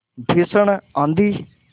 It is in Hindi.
भीषण आँधी